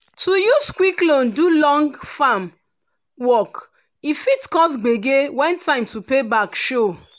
to use quick loan do long farm work e fit cause gbege when time to pay back show.